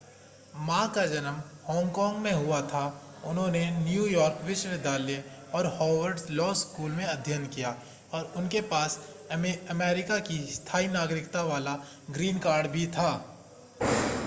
मा का जन्म हांगकांग में हुआ था उन्होंने न्यूयॉर्क विश्वविद्यालय और हार्वर्ड लॉ स्कूल में अध्ययन किया और उनके पास अमेरिका की स्थाई नागरिकता वाला ग्रीन कार्ड भी था